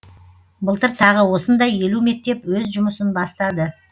былтыр тағы осындай елу мектеп өз жұмысын бастады